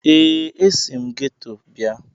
ee, esi m geto abịa